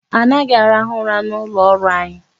Anaghị arahụ ụra n'ụlọ ọrụ anyị.